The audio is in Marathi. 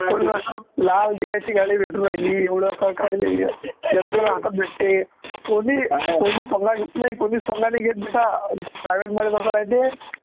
लाल दिव्याची गाडी भेटू राहिली एवढं सरकारी यंत्रणा हातात भेटते कोणी कोणी पंगा घेत नाही कोणीच पंगा नाही घेत बेटा पण private मध्ये तसं नाही ते